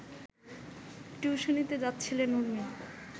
টিউশনিতে যাচ্ছিলেন উর্মি